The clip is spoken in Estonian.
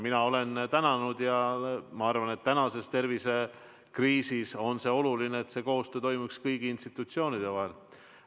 Mina olen tänanud ja ma arvan, et praeguses tervisekriisis on oluline, et koostöö toimuks kõigi institutsioonide vahel.